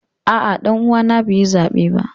A'a, danuwa na bai yi zabe ba.